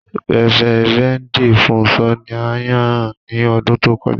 Rẹ́vẹ́rẹ̀ndì Fúnṣọ̀ ní à yàn ní ọdún tó kọja.